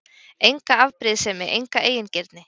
Enga afbrýðisemi, enga eigingirni.